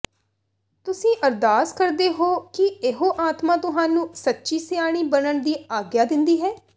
ਤੁਸੀਂ ਅਰਦਾਸ ਕਰਦੇ ਹੋ ਕਿ ਇਹੋ ਆਤਮਾ ਤੁਹਾਨੂੰ ਸੱਚੀ ਸਿਆਣੀ ਬਣਨ ਦੀ ਆਗਿਆ ਦਿੰਦੀ ਹੈ